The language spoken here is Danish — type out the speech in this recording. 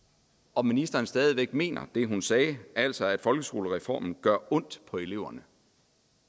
om ministeren stadig væk mener det hun sagde altså at folkeskolereformen gør ondt på eleverne